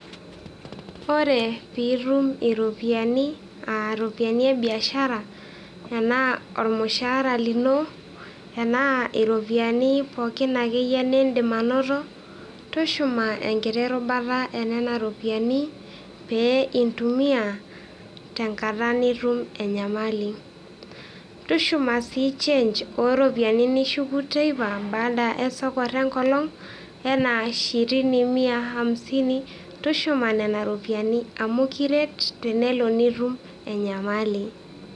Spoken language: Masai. Ore piitum iropiyiani aa iropiyian e biashara enaa olmushaara lino, enaa iropiyiani pookin ake iye niindim anoto tushuma enkiti rubata enena ropiyiani pee intumiya te nkata nitum enyamali. tushuuma sii change ooropiyiani nishuku teipa abaada esoko enkolong enaa ishirini, mia, hamsini tushuma nenia ropyiani amu kiret tenelo nitum enyamali.